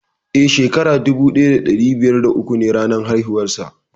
Eh, shekara dubu daya dari biyar da uku ne ranar haihuwar sa.